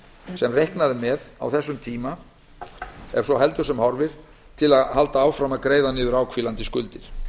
sem reiknað er með á þessum tíma ef svo heldur sem horfir til að halda áfram að greiða niður áhvílandi skuldir